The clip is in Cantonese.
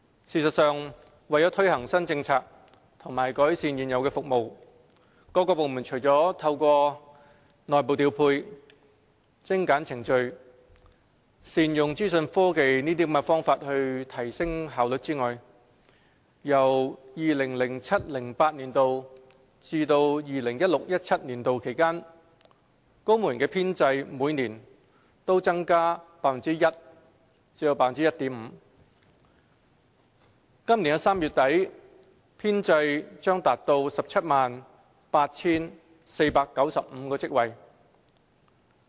事實上，為推行新政策和改善現有服務，各部門除了透過內部調配、精簡程序、善用資訊科技等方法提升效率外，在 2007-2008 年度至 2016-2017 年度期間，公務員編制每年均增加 1% 至 1.5%， 本年3月底編制將達 178,495 個職位。